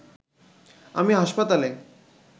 আমি হাসপাতালে